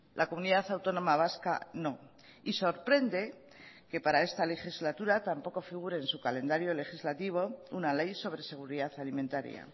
la comunidad autónoma vasca no y sorprende que para esta legislatura tampoco figure en su calendario legislativo una ley sobre seguridad alimentaria